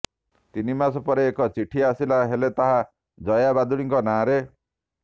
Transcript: ତିନିମାସ ପରେ ଏକ ଚିଠି ଆସିଲା ହେଲେ ତାହା ଜୟା ଭାଦୁଡ଼ିଙ୍କ ନାଆଁରେ